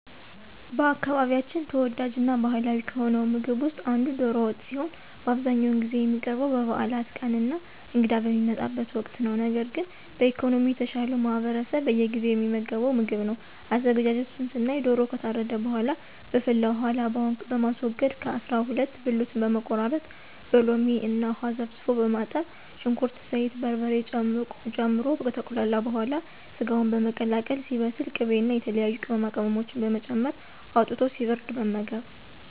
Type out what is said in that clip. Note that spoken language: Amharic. በአካባቢያችን ተወዳጅ እና ባህላዊ ከሆነው ምግብ ውስጥ አንዱ ዶሮ ወጥ ሲሆን በአብዛኛውን ጊዜ የሚቀርበው በበዓላት ቀን እና እንግዳ በሚመጣበት ወቅት ነው። ነገር ግን በኢኮኖሚ የተሻለው ማህበረሰብ በየጊዜው የሚመገበው ምግብ ነው። አዘገጃጀቱን ስናይ ዶሮው ከታረደ በኃላ በፈላ ውሃ ላባውን በማስወገድ ከ አሰራ ሁለት ብልቱን በመቆራረጥ በሎሚ እና ውሃ ዘፍዝፎ በማጠብ ሽንኩርት፣ ዘይት፣ በርበሬ ጨምሮ ከተቁላላ በኃላ ሰጋውን በመቀላቀል ሲበስል ቅቤ እና የተለያዩ ቅመማቅመሞችን በመጨመር አውጥቶ ሲበርድ መመገብ።